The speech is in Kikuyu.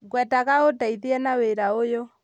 Ngwendaga ũndeithie na wĩra ũyũ